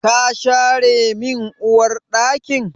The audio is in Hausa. Ka share min Uwar ɗakin?